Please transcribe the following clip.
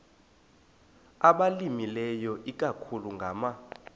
abalimileyo ikakhulu ngama